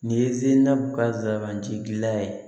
Nin ye ka zanbanti gilan ye